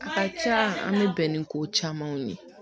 A ka ca an bɛ bɛn ni ko caman ye